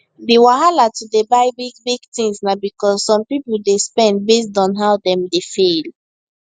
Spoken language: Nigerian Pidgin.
d wahala to dey buy big big things na because some people dey spend based on how dem dey feel